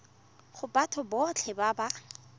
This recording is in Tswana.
go batho botlhe ba ba